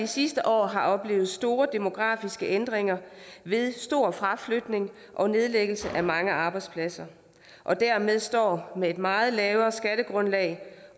sidste år har oplevet store demografiske ændringer ved stor fraflytning og nedlægning af mange arbejdspladser og dermed står med et meget lavere skattegrundlag